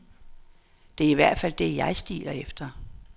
Det er i hvert fald det, jeg stiler efter.